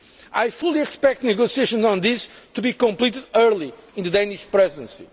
I fully expect negotiations on this to be completed early in the Danish Presidency.